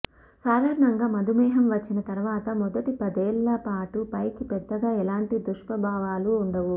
సాధారణంగా మధుమేహం వచ్చిన తర్వాత మొదటి పదేళ్ల పాటు పైకి పెద్దగా ఎలాంటి దుష్ప్రభావాలూ ఉండవు